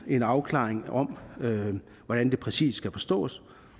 en afklaring om hvordan det præcis skal forstås